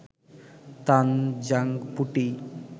তানজাং পুটি